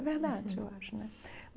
É verdade, eu acho né.